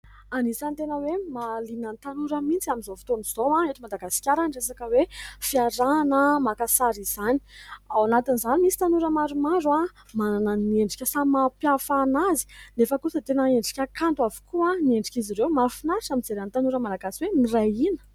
Anisany tena hoe mahaliana ny tanora mihitsy amin'izao fotoan'izao eto Madagasikara ny resaka hoe fiarahana maka sary izany. Ao anatin'izany misy tanora maromaro manana ny endrika samy mampiahafa an'azy nefa kosa dia tena endrika kanto avokoa ny endrik' izy ireo. Mahafinaritra mijery ny tanora malagasy hoe miray hina.